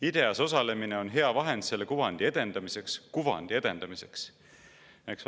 IDEA-s osalemine on hea vahend selle kuvandi edendamiseks, [Kuvandi edendamiseks, eks!